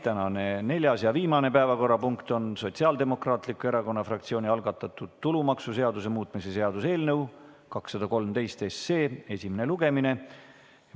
Tänane neljas ja viimane päevakorrapunkt on Sotsiaaldemokraatliku Erakonna fraktsiooni algatatud tulumaksuseaduse muutmise seaduse eelnõu 213 esimene lugemine.